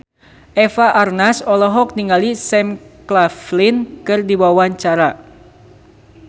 Eva Arnaz olohok ningali Sam Claflin keur diwawancara